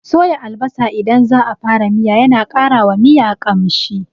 Soya albasa idan za a fara miya yana ƙara wa miya ƙamshi.